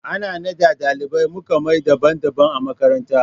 Ana naɗa ɗalibai muƙa mai daban daban a makaranta